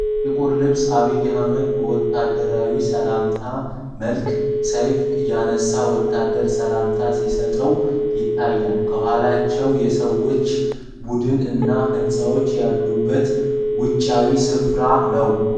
ጥቁር ልብስ አብይ አህመድ በወታደራዊ ሰላምታ መልክ ሰይፍ ያነሳ ወታደር ሰላምታ ሲሰጠው ይታያል። ከኋላቸው የሰዎች ቡድን እና ህንጻዎች ያሉበት ውጪያዊ ስፍራ ነው።